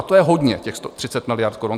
A to je hodně, těch 30 miliard korun.